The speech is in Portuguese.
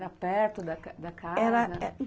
Era perto da da casa? Era